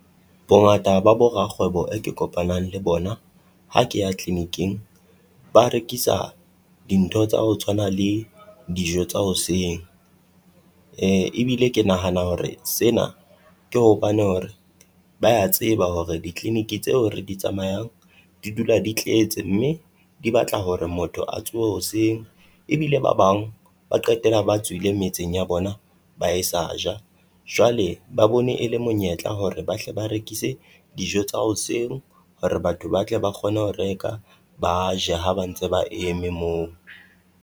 Bongata ba bo rakgwebo e ke kopanang le bona ha ke ya clinic-ing, ba rekisa dintho tsa ho tshwana le dijo tsa hoseng. Ebile ke nahana hore sena ke hopane hore ba ya tseba hore di-clinic tseo re di tsamayang di dula di tletse mme di batla hore motho a tsohe hoseng. Ebile ba bang ba qetela ba tswile metseng ya bona ba e sa ja, jwale ba bone e le monyetla hore bahle ba rekise dijo tsa hoseng hore batho ba tle ba kgone ho reka, ba ja ha ba ntse ba eme moo.